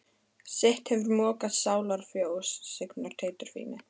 Sitt hefur mokað sálar fjós signor Teitur fíni.